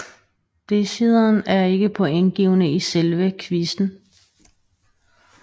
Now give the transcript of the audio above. Decideren er ikke pointgivende i selve quizzen